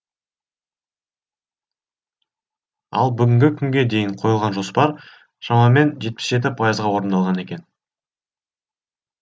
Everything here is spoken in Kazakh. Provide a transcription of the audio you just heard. ал бүгінгі күнге дейін қойылған жоспар шамамен жетпіс жеті пайызға орындалған екен